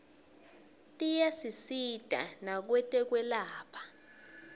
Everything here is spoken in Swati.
tiyasisita nakwetekwelapha